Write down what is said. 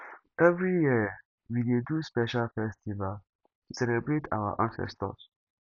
every year we dey do special festival to celebrate our ancestors